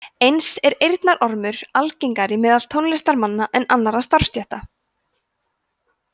eins er eyrnaormur algengari meðal tónlistarmanna en annarra starfsstétta